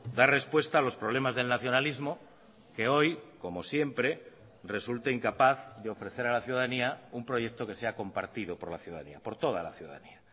dar respuesta a los problemas del nacionalismo que hoy como siempre resulta incapaz de ofrecer a la ciudadanía un proyecto que sea compartido por la ciudadanía por toda la ciudadanía